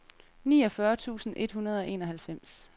niogfyrre tusind et hundrede og enoghalvfems